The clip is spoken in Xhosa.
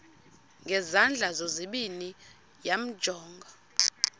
ngezandla zozibini yamjonga